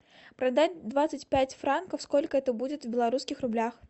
продать двадцать пять франков сколько это будет в белорусских рублях